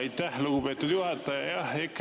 Aitäh, lugupeetud juhataja!